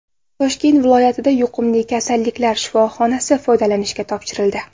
Toshkent viloyatida yuqumli kasalliklar shifoxonasi foydalanishga topshirildi.